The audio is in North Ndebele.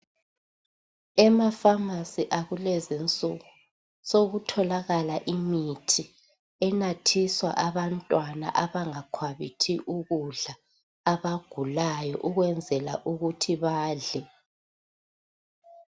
Ema Famasi akulezi insuku sokutholakala imithi enathiswa abantwana abangakhwabithi ukudla abagulayo ukwenzela ukuthi badle.